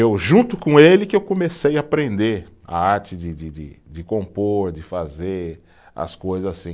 Eu junto com ele que eu comecei a aprender a arte de de de, de compor, de fazer, as coisas assim.